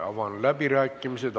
Avan läbirääkimised.